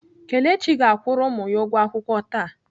Kelechi ga-akwụrụ ụmụ ya ụgwọ akwụkwọ taa.